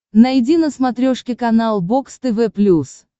найди на смотрешке канал бокс тв плюс